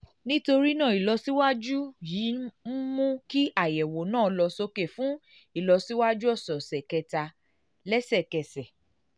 nítorí náà ìlọsíwájú yìí ń mú kí àyẹ̀wò náà lọ sókè fún ìlọsíwájú ọ̀sọ̀ọ̀sẹ̀ kẹta lẹ́sẹ̀kẹsẹ̀